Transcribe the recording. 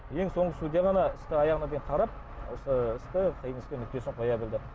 ең соңғы судья ғана істі аяғына дейін қарап осы істі нүктесін қоя білді